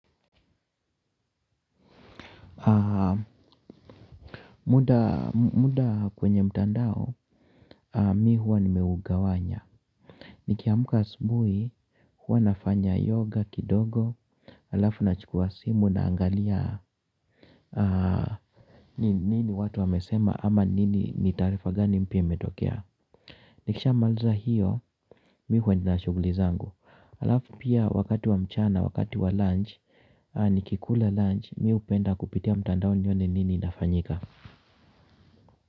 Muda kwenye mtandao mi huwa nimeugawanya. Nikiamuka asubuhi huwa nafanya yoga kidogo. Halafu na chukua simu na angalia nini watu wamesema ama nini ni tarifa gani mpya imetokea. Nikisha maaliza hiyo mi huwa ninashuguli zangu. Halafu pia wakati wa mchana wakati wa lunch ni kikula lunch mi upenda kupitia mtandao nione nini inafanyika.